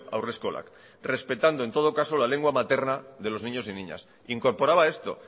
haurreskolak respetando en todo caso la lengua materna de los niños y niñas incorporaba esto